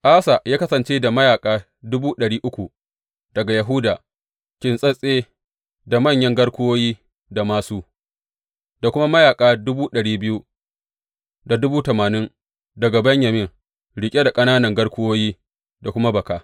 Asa ya kasance da mayaƙa dubu ɗari uku daga Yahuda, kintsatse da manyan garkuwoyi da māsu, da kuma mayaƙa dubu ɗari biyu da dubu tamanin daga Benyamin, riƙe da ƙananan garkuwoyi da kuma baka.